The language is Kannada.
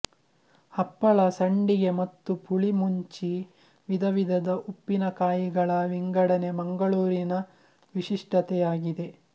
ಹಪ್ಪಳ ಸಂಡಿಗೆ ಮತ್ತು ಪುಳಿ ಮುಣ್ಚಿ ವಿಧ ವಿಧದ ಉಪ್ಪಿನಕಾಯಿಗಳ ವಿಂಗಡಣೆ ಮಂಗಳೂರಿನ ವಿಶಿಷ್ಟತೆಯಾಗಿದೆ